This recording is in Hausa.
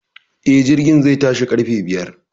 E,Jirgin zai tashi ƙarfe biyar.